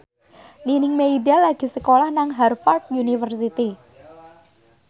Nining Meida lagi sekolah nang Harvard university